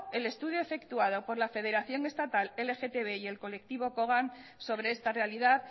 el estudio efectuado por la federación estatal el lgtb y el colectivo cogam sobre esta realidad